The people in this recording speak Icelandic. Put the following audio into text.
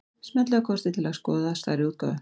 Smellið á kortið til að skoða stærri útgáfu.